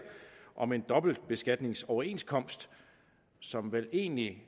om en dobbeltbeskatningsoverenskomst som vel egentlig